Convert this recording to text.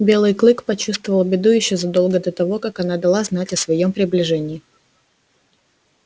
белый клык почувствовал беду ещё задолго до того как она дала знать о своём приближении